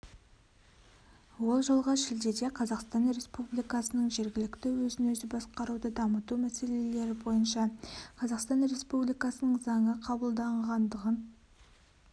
ол жылғы шілдеде қазақстан республикасының жергілікті өзін өзі басқаруды дамыту мәселелері бойынша қазақстан республикасының заңы қабылданғандығын